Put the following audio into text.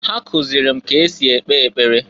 Ha kụzịlị m ka esi ekpe ekpere.